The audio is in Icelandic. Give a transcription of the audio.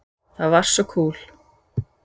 Það var svo kúl.